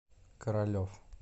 королев